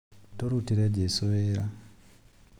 Tũrutĩre jesũ wĩra